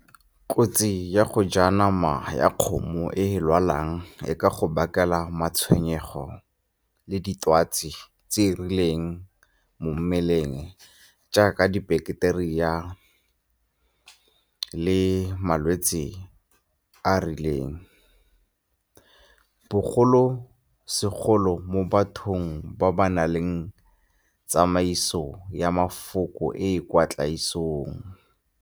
Kotsi ya go ja nama ya kgomo e e lwalang e ka go bakela matshwenyego le ditwatsi tse di rileng mo mmeleng jaaka di-bacteria le malwetse a a rileng, bogolo segolo mo bathong ba ba nang le tsamaiso ya mafoko e e kwa tlaisong.